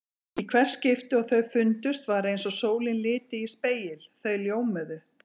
Í hvert skipti og þau fundust var eins og sólin liti í spegil: þau ljómuðu.